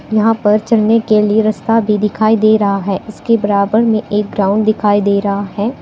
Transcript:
यहां पर चढ़ने के लिए रस्ता भी दिखाई दे रहा है इसके बराबर में एक ग्राउंड दिखाई दे रहा है।